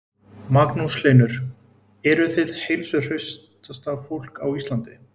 Magnús Hlynur: Eruð þið heilsuhraustasta fólk á Íslandi?